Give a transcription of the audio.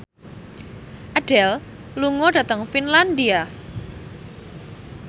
Adele lunga dhateng Finlandia